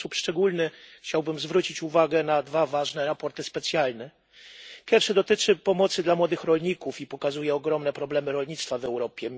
W sposób szczególny chciałbym zwrócić uwagę na dwa ważne sprawozdania specjalne. Pierwsze dotyczy pomocy dla młodych rolników i pokazuje ogromne problemy rolnictwa w Europie.